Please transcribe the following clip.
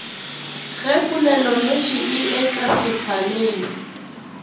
ge polelonoši e etla sefaleng